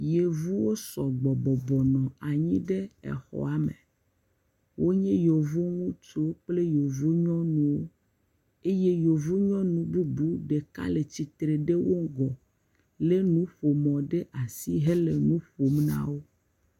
Yevuwo sɔ gbɔ bɔbɔ nɔ anyi ɖe exɔa me. Wonye yevu ŋutsu kple yevu nyɔnuwo eye yevu bubu ɖeka le tsitre ɖe eƒe ŋgɔ eye wole nuƒomɔ ɖe asi hele nuƒom nawò.